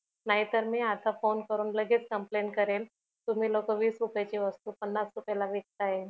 नाही तर मी आता फोन करून लगेच complaint करेल तुम्ही लोकं वीस रुपयाची वस्तू पन्नास रुपयाला विकताय